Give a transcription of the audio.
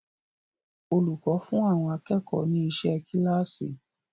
Olùkọ́ fún àwọn akẹ́kọ̀ọ́ ni iṣẹ́ kíláàsì.